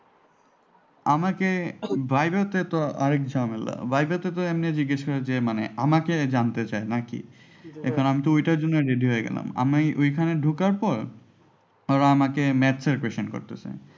আমাকে viva এতে তো আরেক ঝামেলা viva এতে তো এমনি জিজ্ঞেস করে যে মানে আমাকে জানতে চায় আর কি এখন আমি তো এটার জন্য ready হয়ে গেলাম আমি ওইখানে ঢুকার পর আমাকে maths এর question করতেছে।